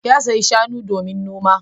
Ya sayo shanu domin noma.